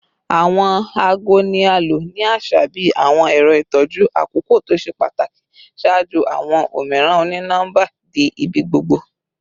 Awọn aago ni a lo ni aṣa bi awọn ẹrọ itọju akoko to ṣe pataki ṣaaju awọn omiiran oni-nọmba di ibigbogbo